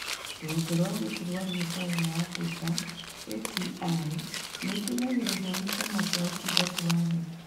Rũhonge rwa ũgitĩri wa biacara ya Abirika (ATI) nĩ ĩteithagĩrĩrio nĩ Kĩama kĩa Ũtungata wa Thĩ.